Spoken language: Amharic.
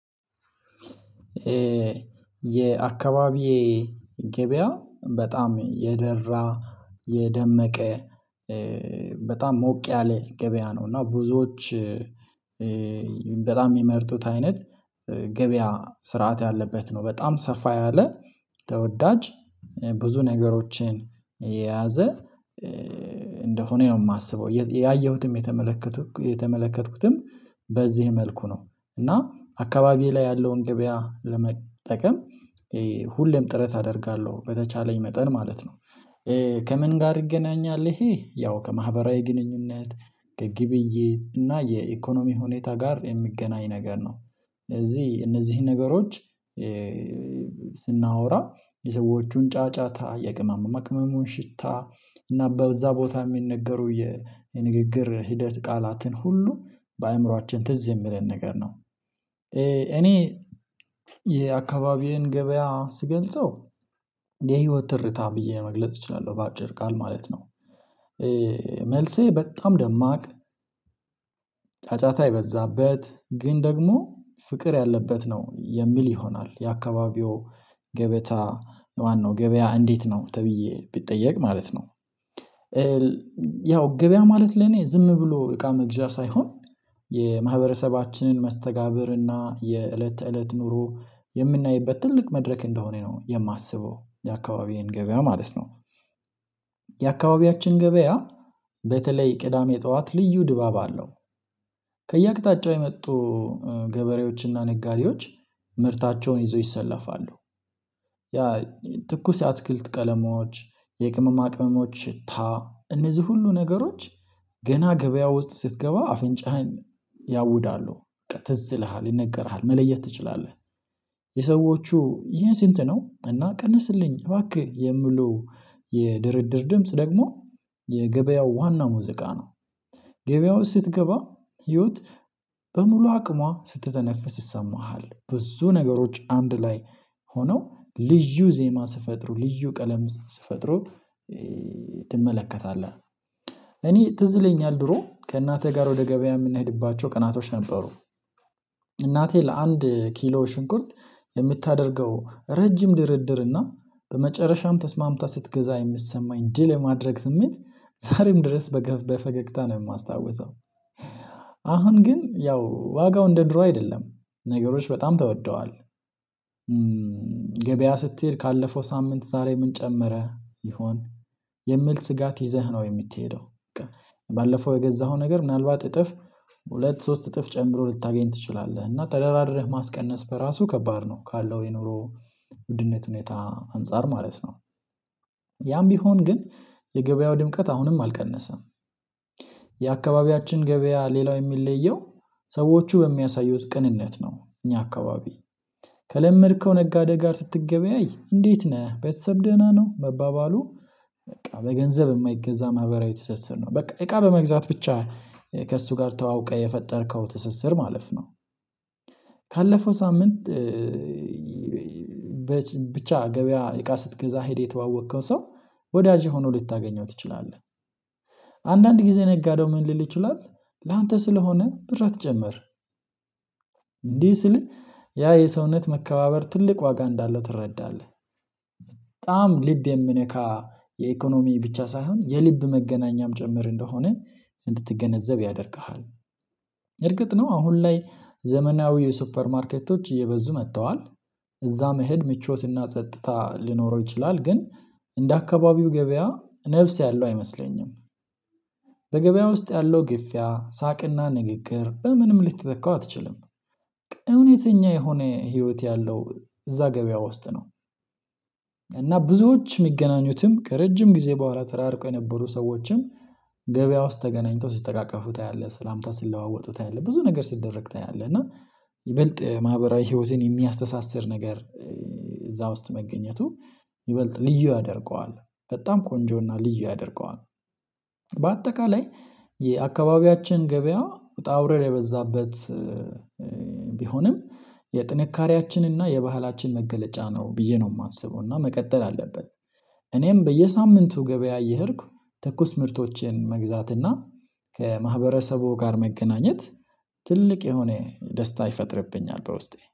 የአካባቢዬ ገበያ በጣም የደራ የደመቀ በጣም ሞቅ ያለ ገበያ ነው እና ብዙዎች በጣም የሚመርጡት አይነት ገበያ ስርዓት ያለበት ነው በጣም ሰፋ ያለ ተወዳጅ ብዙ ነገሮችን የያዘ እንደሆነ ነው የማስበው፤ ያየሁትም የተመለከትኩትም በዚህ መልኩ ነው እና አካባቢዬ ላይ ያለውን ገበያ ለመጠቀም ሁሌም ጥረት አደርጋለሁ በተቻለኝ መጠን ማለት ነው ከምን ጋር ይገናኛል ይሄ ያው ከማህበራዊ ግንኙነት ከግብይት እና የኢኮኖሚ ሁኔታ ጋር የሚገናኝ ነገር ነው ለዚህ እነዚህን ነገሮች ስናወራ የሰዎቹን ጫጫታ የቅመመቅመሙን ሽታ እና በዛ ቦታ የሚነገሩ የንግግር ሂደት ቃላትን ሁሉ በአእምሮአችን ትዝ የሚለን ነገር ነው እኔ የአካባቢዬን ገበያ ስገልጸው የህይወት ትርታ ብዬ መግለጽ እችላለሁ በአጭር ቃል ማለት ነው መልሴ በጣም ደማቅ ጫጫታ የበዛበት፤ ግን ደግሞ ፍቅር ያለበት ነው የሚል ይሆናል የአካባቢው ገበታ ማነው ገበያ እንዴት ነው ተብዬ ቢጠየቅ ማለት ነው። ያው ገበያ ማለት ለኔ ዝም ብሎ እቃ መግዣ ሳይሆን የማህበረሰባችንን መስተጋብር እና የእለት ተእለት ኑሮ የምናይበት ትልቅ መድረክ እንደሆነ ነው የማስበው የአካባቢዬን ገበያ ማለት ነው። የአካባቢያችን ገበያ በተለይ ቅዳሜ ጠዋት ልዩ ድባብ አለው። ከየአቅጣጫው የመጡ ገበሬዎችና ነጋዴዎች ምርታቸውን ይዘው ይሰለፋሉ ያ ትኩስ አትክልት ቀለሞች የቅመማ ቅመሞች ሽታ እነዚህ ሁሉ ነገሮች ገና ገበያ ውስጥ ስትገባ አፍንጫህን ያውዳሉ፤ ትዝ ይልሃል ይነገርሃል መለየት ትችላለህ፤ የሰዎቹ ይህን ስንት ነው እና ቀንስልኝ እባክህ የሚሉ የድርድር ድምጽ ደግሞ የገበያው ዋና ሙዚቃ ነው። ገበያው ስትገባ ህይወት በሙሉ አቅሟ ስትተነፍስ ይሰማሃል፤ ብዙ ነገሮች አንድ ላይ ሆነው ልዩ ዜማ ስፈጥሩ ልዩ ቀለም ስፈጥሩ ትመለከታለህ፤ እኔ ትዝለኛል ድሮ ከእናቴ ጋር ወደ ገበያ የምንሄድባቸው ቀናቶች ነበሩ፤ እናቴ ለአንድ ኪሎ ሽንኩርት የምታደርገው ረጅም ድርድር እና በመጨረሻም ተስማምታ ስትገዛ የሚሰማኝ ድል የማድረግ ስሜት ዛሬም ድረስ በፈገግታ ነው የማስታውሰው፤ አሁን ግን ያው ዋጋው እንደ ድሮ አይደለም ነገሮች በጣም ተወደዋል፤ ገበያ ስትሄድ ካለፈው ሳምንት ዛሬ ምን ጨመረ ይሆን? የምል ስጋት ይዘህ ነው የምትሄደው በቃ ባለፈው የገዛኸው ነገር ምናልባት እጥፍ ሁለት ሶስት እጥፍ ጨምሮ ልታገኝ ትችላለህ፤ እና ተደራድረህ ማስቀነስ በራሱ ከባድ ነው ካለው የኑሮ ውድነት ሁኔታ አንፃር ማለት ነው። ያም ቢሆን ግን የገበያው ድምቀት አሁንም አልቀነሰም የአካባቢያችን ገበያ ሌላው የሚለየው ሰዎቹ በሚያሳዩት ቅንነት ነው እኛ አካባቢ ከለመድከው ነጋዴ ጋር ስትገበያይ እንዴት ነህ ቤተሰብ ደህና ነው መባባሉ በቃ በገንዘብ የማይገዛ ማህበራዊ ተሰስር ነው በቃ እቃ በመግዛት ብቻ ከእሱ ጋር ተዋውቀህ የፈጠርከው ትስስር ማለፍ ነው ካለፈው ሳምንት በች ብቻ ገበያ እቃ ስትገዛ ሄደህ የተዋወቅከው ሰው ወዳጄ ሆኖ ልታገኘው ትችላለህ፤ አንዳንድ ጊዜ ነጋደው ምን ልል ይችላል ላንተ ስለሆነ ብር አትጨምር ጀመር እንዲህ ስል ያ የሰውነት መከባበር ትልቅ ዋጋ እንዳለው ትረዳለህ በጣም ልብ የሚነካ የኢኮኖሚ ብቻ ሳይሆን የልብ መገናኛም ጭምር እንደሆነ እንድትገነዘብ ያደርግሃል፤ እርግጥ ነው አሁን ላይ ዘመናዊ የሱፐር ማርኬቶች እየበዙ መጥተዋል፤ እዛ መሄድ ምቾትና ጸጥታ ሊኖረው ይችላል ግን እንደ አካባቢው ገበያ ነፍስ ያለው አይመስለኝም በገበያ ውስጥ ያለው ግፊያ ሳቅና ንግግር በምንም ልትተካው አትችልም እውነተኛ የሆነ ህይወት ያለው እዛ ገበያ ውስጥ ነው፤ እና ብዙዎች የሚገናኙትም ከረጅም ጊዜ በኋላ ተራርቆ የነበሩ ሰዎችም ገበያ ውስጥ ተገናኝተው ሲተቃቀፉ ታያለህ ሰላምታ ሲለዋወጡ ታያለህ፤ ብዙ ነገር ሲደረግ ታያለህ እና ይበልጥ ማህበራዊ ህይወቴን የሚያስተሳስር ነገር እዛ ውስጥ መገኘቱ ይበልጥ ልዩ ያደርገዋል በጣም ቆንጆና ልዩ ያደርገዋል፤ በአጠቃላይ የአካባቢያችን ገበያ ውጣ ውረድ የበዛበት ቢሆንም የጥንካሬያችንና የባህላችን መገለጫ ነው ብዬ ነው የማስበው እና መቀጠል አለብን። እኔም በየሳምንቱ ገበያ እየሄድኩ ትኩስ ምርቶችን መግዛትና ከማህበረሰቡ ጋር መገናኘት ትልቅ የሆነ ደስታ ይፈጥርብኛል በውስጤ፤